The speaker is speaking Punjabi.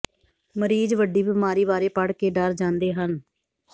ਮਰੀਜ਼ ਵੱਡੀ ਬਿਮਾਰੀ ਬਾਰੇ ਪੜ੍ਹ ਕੇ ਡਰ ਜਾਂਦੇ ਹਨ